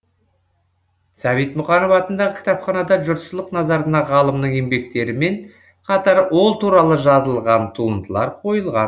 сәбит мұқанов атындағы кітапханада жұртшылық назарына ғалымның еңбектерімен қатар ол туралы жазылған туындылар қойылған